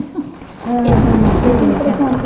ਹਾਂ ਹਾਂ। ਇੱਕ ਇਧਰੋਂ ਪ੍ਰੇਸ਼ਾਨ ਸੀ।